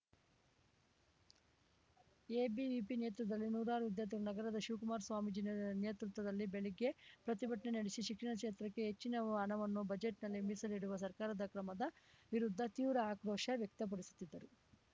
ABVP ನೇತೃತ್ವದಲ್ಲಿ ನೂರಾರು ವಿದ್ಯಾರ್ಥಿಗಳು ನಗರದ ಶಿವಕುಮಾರ ಸ್ವಾಮೀಜಿ ನೇತೃತ್ವದಲ್ಲಿ ಬೆಳಗ್ಗೆ ಪ್ರತಿಭಟನೆ ನಡೆಸಿ ಶಿಕ್ಷಣ ಕ್ಷೇತ್ರಕ್ಕೆ ಹೆಚ್ಚಿನ ಹಣವನ್ನು ಬಜೆಟ್‌ನಲ್ಲಿ ಮೀಸಲಿಡುವ ಸರ್ಕಾರದ ಕ್ರಮದ ವಿರುದ್ಧ ತೀವ್ರ ಆಕ್ರೋಶ ವ್ಯಕ್ತಪಡಿಸುತ್ತಿದ್ದರು